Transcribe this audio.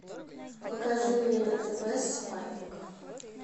покажи мне на тв спайк